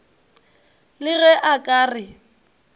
le ge a ka re